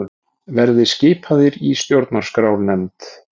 Verði skipaðir í stjórnarskrárnefnd